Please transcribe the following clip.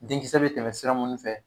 Denkisɛ bɛ tɛmɛ sira minnu fɛ